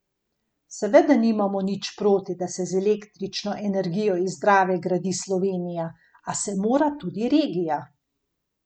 Seveda nimamo nič proti, da se z električno energijo iz Drave gradi Slovenija, a se mora tudi regija.